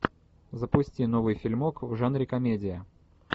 запусти новый фильмок в жанре комедия